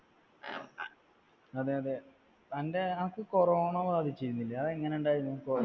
അതെയതെ. തന്റെ ആർക്കോ corona ബാധിച്ചിരുന്നില്ലേ. അതെങ്ങനെയുണ്ടായിരുന്നു